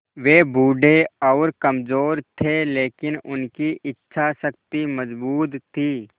वे बूढ़े और कमज़ोर थे लेकिन उनकी इच्छा शक्ति मज़बूत थी